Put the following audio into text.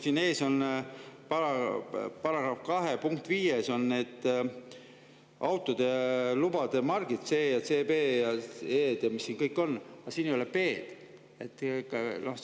Siin on § 2 punkti 5 juures lubade – C, CE ja DE ja mis siin kõik on –, aga siin ei ole B-.